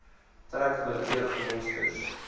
trek willekeurige monsters